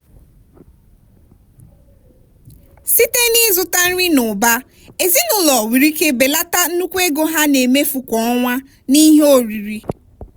site n'ịzụta nri n'ụba ezinụlọ nwere ike belata nnukwu ego ha na-emefu kwa ọnwa n'ihe oriri.